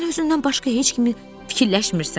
Sən özündən başqa heç kimi fikirləşmirsən.